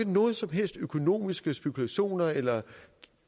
nogen som helst økonomiske spekulationer eller